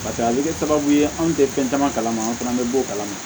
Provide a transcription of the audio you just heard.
Paseke a bɛ kɛ sababu ye anw tɛ fɛn caman kalama an fana bɛ bɔ o kalama